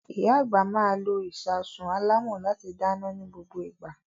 Ìyá àgbà máa lo ìṣasùn alámọ̀ láti dáná ní gbogbo ìgbà.